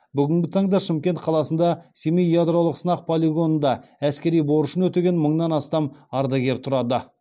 бүгінгі таңда шымкент қаласында семей ядролық сынақ полигонында әскери борышын өтеген мыңнан астам ардагер тұрады